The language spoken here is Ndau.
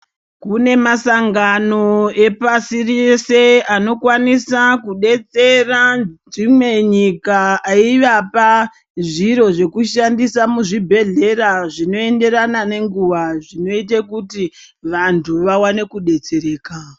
Kunemasangano epasirese anokwanisa kudetsera dzimwenyika ayivapa zviro zvokushandisa muzvibhedhlera, zvinoyenderana nenguwa, zvinoite kuti vantu vawane kudetsereka.